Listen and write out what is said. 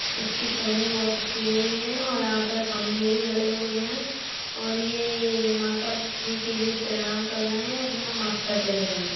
इसकी टेहनी बहोत अच्छी लगी हुई है और यहाँ पर खंबे भी गडे हुए हैं और ये माता जी के लिए प्रणाम कर रहे है। अपना माथा टेक रहे है।